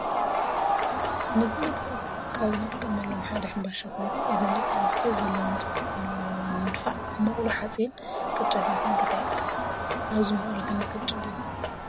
ንምግብነት ካብ አጥቀመሎም ሓደ ሕባሻ ኮይኑ እዘን ደቂ አነሰትዮ ዘለዎን ፀገም መነባብሮ ንምድፋእ አብ መቅሎ ሐፂን ቅጫ እናሰንከታ ይርከባ ።አበዚ መቅሎ ክንደይ ቅጫ አለዎ?